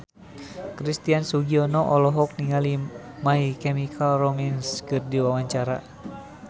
Christian Sugiono olohok ningali My Chemical Romance keur diwawancara